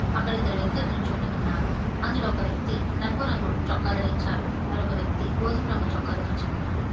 అక్కడ ఇద్దరు వ్యక్తులు నించొని ఉన్నారు అందులో ఒక వ్యక్తి నలుపు రంగు చొక్కా ధరించారు మరొక వ్యక్తి గోధుమ రంగు చొక్కా ధరించి ఉన్నారు.